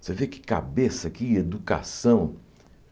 Você vê que cabeça, que educação.